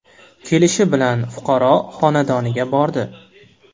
Kelishi bilan fuqaro xonadoniga bordi.